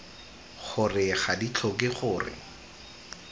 gore ga di tlhoke gore